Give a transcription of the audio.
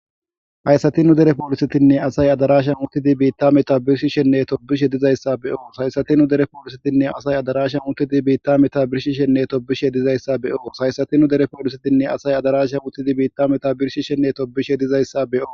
hayssati nu dere poolisetiinne asay adarashsha utiidi biitta meta birshshishenne tobishshe dizayssa be'oos hayssati nu dere poolisetiinne asay adarasha utiidi biitta meta birshishshenne tobiishshe dizayssa be'oos hayssati nu dere poolisetiinne asay adarashsha utiidi biitta meta birshishshenne tobiishshe dizayssa be'oos